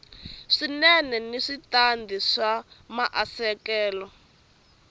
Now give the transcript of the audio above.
swinene ni switandati swa maasesele